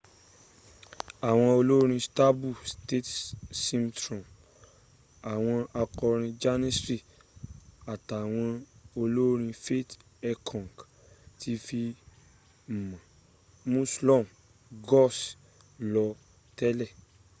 àwọn olórin stanbul state symphony àwọn akọrin janissary àtàwọn olórin fatih erkoç tó fi mọ́ müslüm gürses ló tẹ̀le